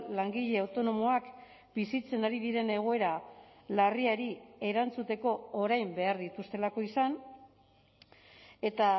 langile autonomoak bizitzen ari diren egoera larriari erantzuteko orain behar dituztelako izan eta